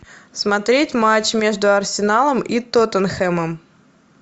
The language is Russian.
смотреть матч между арсеналом и тоттенхэмом